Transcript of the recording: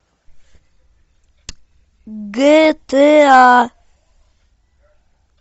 гта